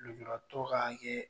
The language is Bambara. Lujuratɔ ka hakɛ